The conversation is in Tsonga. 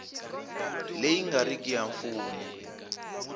leyi nga riki ya mfumo